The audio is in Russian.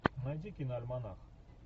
найди киноальманах